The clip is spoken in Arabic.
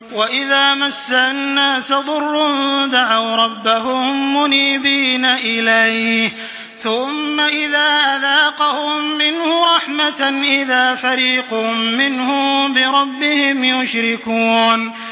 وَإِذَا مَسَّ النَّاسَ ضُرٌّ دَعَوْا رَبَّهُم مُّنِيبِينَ إِلَيْهِ ثُمَّ إِذَا أَذَاقَهُم مِّنْهُ رَحْمَةً إِذَا فَرِيقٌ مِّنْهُم بِرَبِّهِمْ يُشْرِكُونَ